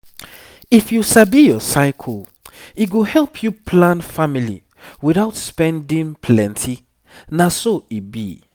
if you sabi your cycle e go help you plan family without spending plenty na so e be.